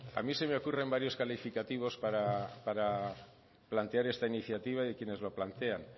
a mí se me ocurren varios calificativos para plantear esta iniciativa y quienes lo plantean